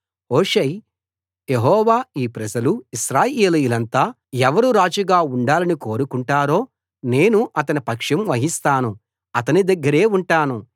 Hushai యెహోవా ఈ ప్రజలు ఇశ్రాయేలీయులంతా ఎవరు రాజుగా ఉండాలని కోరుకుంటారో నేను అతని పక్షం వహిస్తాను అతని దగ్గరే ఉంటాను